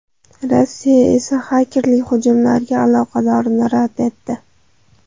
Rossiya esa xakerlik hujumlariga aloqadorligini rad etdi.